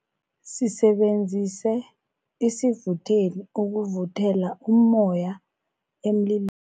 Sisebenzise isivutheli ukuvuthela ummoya emlil